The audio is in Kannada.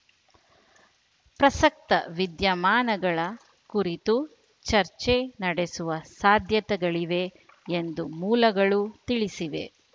ಪ್ರಸಕ್ತ ವಿದ್ಯಮಾನಗಳ ಕುರಿತು ಚರ್ಚೆ ನಡೆಸುವ ಸಾಧ್ಯತೆಗಳಿವೆ ಎಂದು ಮೂಲಗಳು ತಿಳಿಸಿವೆ